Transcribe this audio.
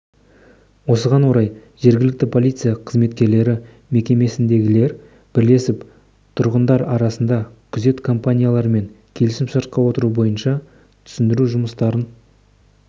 осыған орай жергілікті полиция қызметкерлері мекемесіндегілермен бірлесіп тұрғындар арасында күзет компанияларымен келісім-шартқа отыру бойынша түсіндіру жұмыстарын